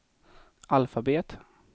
alfabet